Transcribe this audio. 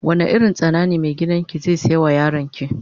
Wanda irin tsana ne mai gidan ki zai siya ma yaron ki.